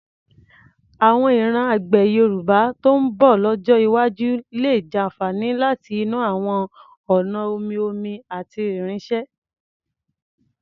Àwọn ìran àgbẹ̀ Yorùbá tó ń bọ̀ lọ́jọ́ iwájú lè jàfààní láti inú àwọn ọ̀nà omi-omi àti irinṣẹ́.